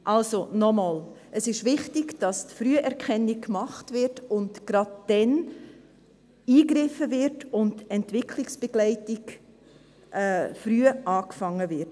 Also, noch einmal: Es ist wichtig, dass die Früherkennung gemacht wird, gerade dann eingegriffen wird und mit der Entwicklungsbegleitung früh begonnen wird.